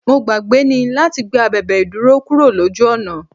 Mo gbàgbé ni láti gbé abèbè ìdúró kúrò lójú ọ̀nà.